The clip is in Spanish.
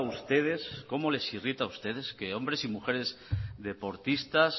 ustedes cómo les irrita a ustedes que hombres y mujeres deportistas